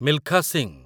Milkha Singh